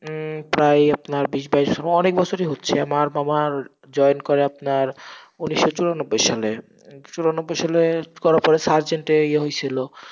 হম প্রায় আপনার বিশ বাইশ, ও অনেক বছরই হচ্ছে, আমার মামা join করে আপনার উনিশশো চুরানব্বই সালে চুরানব্বই সালে করার পরে surgent এ ইয়ে হয়েছিল।